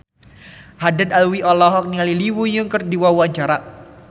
Haddad Alwi olohok ningali Lee Yo Won keur diwawancara